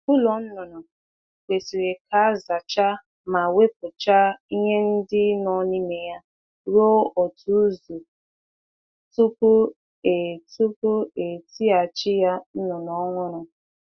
A ghaghị ịsacha ụlọ zụ anụ ọkụkọ ma hapụ ya n’efu ihe dị ka otu izu tupu e tinye anụ ọkụkọ ọhụrụ.